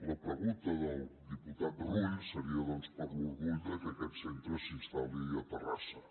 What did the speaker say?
la pregunta del diputat rull seria doncs per l’orgull que aquest centre s’instal·li a terrassa